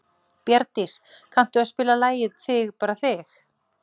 Bjarndís, kanntu að spila lagið „Þig bara þig“?